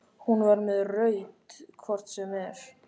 Hún var með rautt hvort sem er.